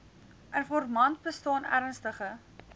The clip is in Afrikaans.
informant bestaan ernstige